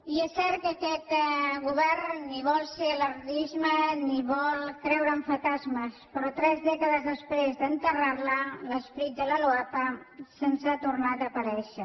i és cert que aquest govern ni vol ser alarmista ni vol creure en fantasmes però tres dècades després d’enterrar la l’esperit de la loapa se’ns ha tornat a aparèixer